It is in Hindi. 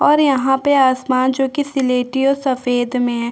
और यहाँ पे आसमान जो की स्लेटी और सफ़ेद मे है।